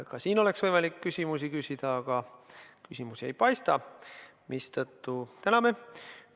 Ka nüüd on võimalik küsimusi küsida, aga küsimusi ei paista, mistõttu täname.